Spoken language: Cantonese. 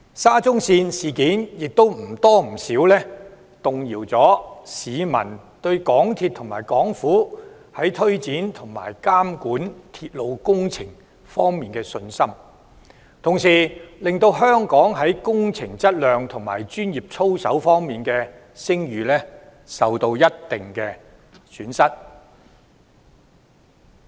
沙中線事件或多或少動搖了市民對香港鐵路有限公司和港府推展及監管鐵路工程的信心，同時令香港在工程質量及專業操守方面的聲譽受到一定程度的損害。